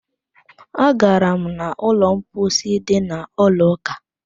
Agara m n'ụlọ mposi dị n'ụlọ ụka